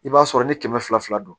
I b'a sɔrɔ ni kɛmɛ fila fila don